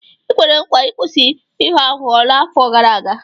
I kwere nkwa ịkwụsị ịghọ aghụghọ n'afọ gara aga.